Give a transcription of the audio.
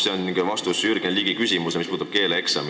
See on ka vastus Jürgen Ligi küsimusele, mis puudutas keeleeksamit.